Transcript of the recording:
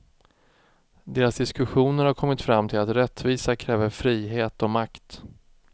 Deras diskussioner har kommit fram till att rättvisa kräver frihet och makt.